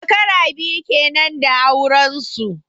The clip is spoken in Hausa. Shekara biyu kenan da auren su.